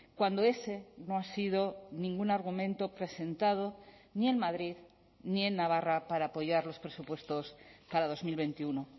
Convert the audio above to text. cuando ese no ha sido ningún argumento presentado ni en madrid ni en navarra para apoyar los presupuestos para dos mil veintiuno